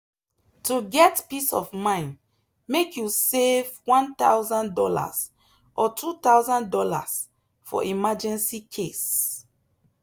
to get peace of mind make you save one thousand dollars or two thousand dollars for emergency case.